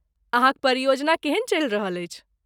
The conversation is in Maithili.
अहाँक परियोजना केहन चलि रहल अछि?